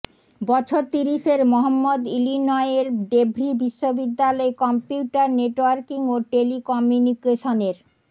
বছর তিরিশের মহম্মদ ইলিনয়ের ডেভরি বিশ্ববিদ্যালয়ে কম্পিউটার নেটওয়ার্কিং ও টেলিকমিউনিকেশনের